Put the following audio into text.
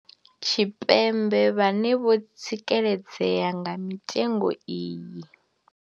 Tshipembe vhane vho tsikeledzea nga mitengo iyi.